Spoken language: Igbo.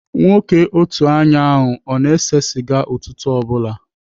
Nwoke otu anya a ọ na-ese sịga ụtụtụ ọ bụla?